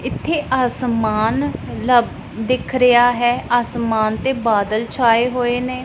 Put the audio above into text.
ਇੱਥੇ ਆਸਮਾਨ ਲਬ ਦਿੱਖ ਰਿਹਾ ਹੈ ਆਸਮਾਨ ਤੇ ਬਾਦਲ ਛਾਏ ਹੋਏ ਨੇਂ।